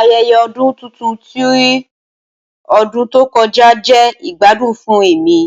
Ayẹyẹ ọdun tuntun ti ọdun to kọja jẹ igbadun fun emi